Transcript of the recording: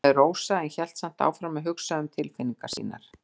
hvíslaði Rósa en hélt samt áfram að hugsa um tilfinningar sínar.